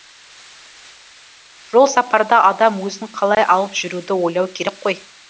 жол сапарда адам өзін қалай алып жүруді ойлау керек қой